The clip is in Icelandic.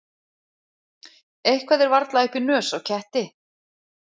Eitthvað er varla upp í nös á ketti